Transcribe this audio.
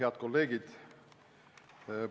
Head kolleegid!